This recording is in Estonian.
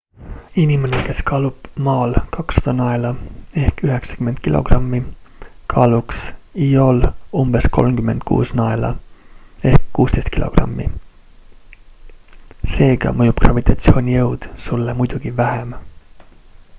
inimene kes kaalub maal 200 naela 90 kg kaaluks io'l umbes 36 naela 16 kg. seega mõjub gravitatsioonijõud sulle muidugi vähem